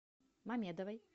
мамедовой